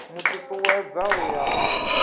mu tutuwedza u ya u